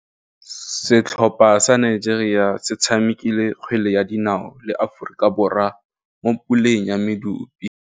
Setlhopha sa Nigeria se tshamekile kgwele ya dinaô le Aforika Borwa mo puleng ya medupe.